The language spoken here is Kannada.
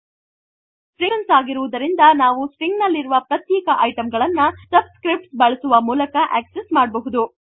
ಸ್ಟ್ರಿಂಗ್ಸ್ ಕಲೆಕ್ಷನ್ಸ್ ಆಗಿರುವುದರಿಂದ ನಾವು ಸ್ಟ್ರಿಂಗ್ ನಲ್ಲಿರುವ ಪ್ರತ್ಯೇಕ ಐಟಂ ಗಳನ್ನು ಸಬ್ಸ್ಕ್ರಿಪ್ಟ್ಸ್ ಬಳಸುವ ಮೂಲಕ ಅಕ್ಸೆಸ್ಸ್ ಮಾಡಬಹುದು